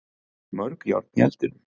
Mörg járn í eldinum